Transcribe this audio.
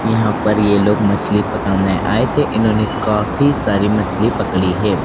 यहां पर ये लोग मछली पकड़ने आए थे इन्होंने काफी सारी मछली पकड़ी है।